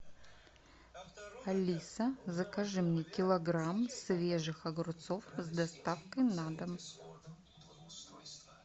алиса закажи мне килограмм свежих огурцов с доставкой на дом